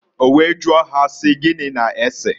O wee jụọ ha si, "Gini na-eseǃ"